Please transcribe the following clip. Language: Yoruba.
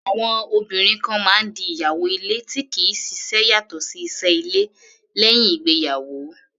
Àwọn obìnrin kan máa ń di ìyàwó ilé tí kì í ṣiṣẹ́ yàtọ̀ sí iṣẹ́ ilé, lẹ́uìn ìgbéyàwó.